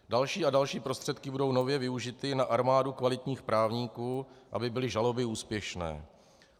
Další a další prostředky budou nově využity na armádu kvalitních právníků, aby byly žaloby úspěšné.